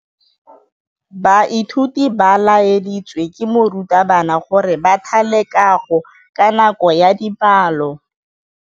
Baithuti ba laeditswe ke morutabana gore ba thale kagô ka nako ya dipalô.